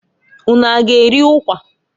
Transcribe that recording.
Ụnụ a g'eri ụkwa?